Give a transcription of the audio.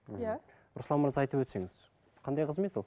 иә руслан мырза айтып өтсеңіз қандай қызмет ол